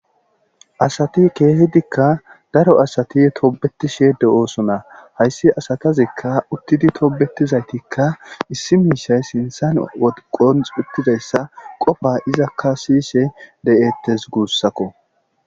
Asati keehidikka daro asati toobetishe de oosona hayssi asatazikka uttidi toobetizaytikka issi miishay sintsan woqon xitizayssa qofa izakka siyishe de'ettes guussakko.